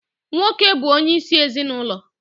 Nwoke bụ onyeisi ezinụlọ